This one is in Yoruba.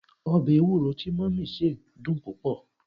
obe ewuro ti mummy se dun pupo